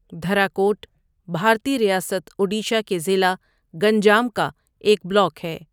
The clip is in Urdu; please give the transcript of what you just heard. دھراکوٹ، بھارتی ریاست اڈیشہ کے ضلع گنجام کا ایک بلاک ہے۔